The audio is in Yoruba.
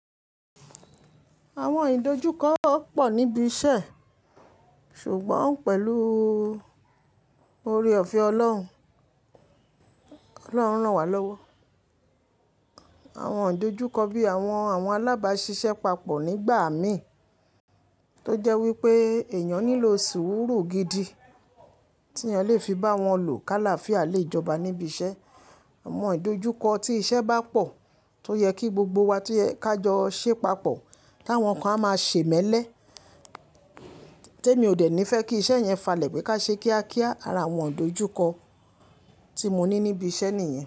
Àwọn ìdojúkọ pọ̀ níbi iṣẹ́ ṣùgbọ́n pẹ̀lú oore-ọ̀fẹ́ Ọlọ́run, Ọlọ́run rán wa lọ́wọ́. Àwọn ìdojúkọ bí i àwọn alábàáṣiṣẹ́ papọ̀ nígbà mi tó jẹ́ wípé èèyàn nílò sùúrù gidi tí èèyàn lè fi bá wọn lò káláfía lejọba níbi iṣẹ́. Àwọn ìdojúkọ tí iṣẹ́ bá pọ̀ tó yẹ kí gbogbo wa tó yẹ ká jọ ṣé papọ̀, káwọn kan a máa ṣe mẹ́lẹ̀. Témi ò dẹ̀ ní fẹ́ kí iṣẹ́ yẹn falẹ̀ pé ká ṣe kíákíá ara àwọn ìdojúkọ tí mo ní níbi iṣẹ́ nìyẹn.